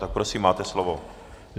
Tak prosím, máte slovo.